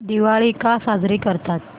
दिवाळी का साजरी करतात